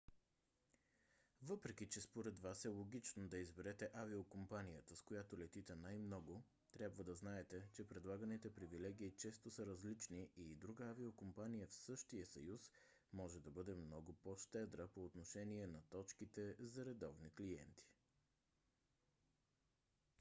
въпреки че според вас е логично да изберете авиокомпанията с която летите най-много трябва да знаете че предлаганите привилегии често са различни и друга авиокомпания в същия съюз може да бъде много по-щедра по отношение на точките за редовни клиенти